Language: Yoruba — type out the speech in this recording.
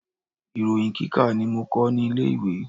Ìròyin kíkà ni mo kọ́ ní ilé ìwé.